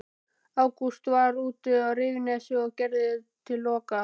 Ágúst var úti á Rifsnesi og gerði til kola.